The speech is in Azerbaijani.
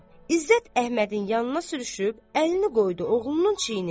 İzzət Əhmədin yanına sürüşüb, əlini qoydu oğlunun çiyninə.